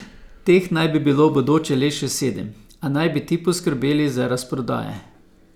Teh naj bi bilo v bodoče le še sedem, a naj bi ti poskrbeli za rast prodaje.